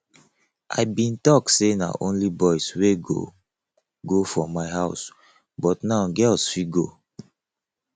i bin talk say na only boys wey go go for my house but now girls fit go